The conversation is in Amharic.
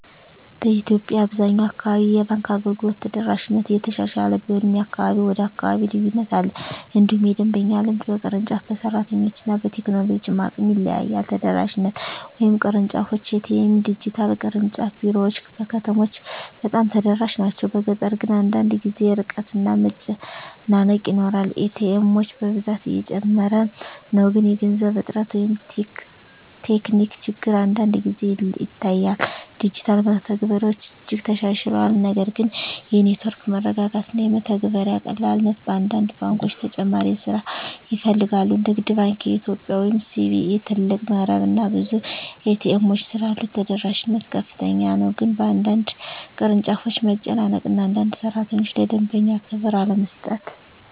በኢትዮጵያ አብዛኛው አካባቢ የባንክ አገልግሎት ተደራሽነት እየተሻሻለ ቢሆንም ከአካባቢ ወደ አካባቢ ልዩነት አለ። እንዲሁም የደንበኛ ልምድ በቅርንጫፍ፣ በሰራተኞች እና በቴክኖሎጂ አቅም ይለያያል። ተደራሽነት (ቅርንጫፎች፣ ኤ.ቲ.ኤም፣ ዲጂታል) ቅርንጫፍ ቢሮዎች በከተሞች በጣም ተደራሽ ናቸው፤ በገጠር ግን አንዳንድ ጊዜ ርቀት እና መጨናነቅ ይኖራል። ኤ.ቲ. ኤሞች ብዛት እየጨመረ ነው፣ ግን የገንዘብ እጥረት ወይም ቴክኒክ ችግር አንዳንድ ጊዜ ይታያል። ዲጂታል መተግበሪያዎች እጅግ ተሻሽለዋል፣ ነገር ግን የኔትወርክ መረጋጋት እና የመተግበሪያ ቀላልነት በአንዳንድ ባንኮች ተጨማሪ ስራ ይፈልጋል። ንግድ ባንክ ኢትዮጵያ (CBE) ትልቅ መረብ እና ብዙ ኤ.ቲ. ኤሞች ስላሉት ተደራሽነት ከፍተኛ ነው፤ ግን በአንዳንድ ቅርንጫፎች መጨናነቅ እና አንዳንድ ሠራተኞች ለደንበኛ ክብር አለመስጠት